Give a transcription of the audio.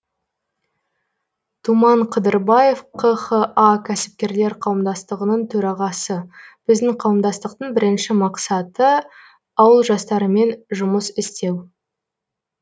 думан қыдырбаев қха кәсіпкерлер қауымдастығының төрағасы біздің қауымдастықтың бірінші мақсаты ауыл жастарымен жұмыс істеу